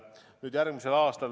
Nüüd, järgmised aastad.